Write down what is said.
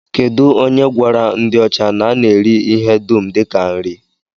Kedụ onye gwara ndị ọcha na a na-eri ihe dum dịka nri?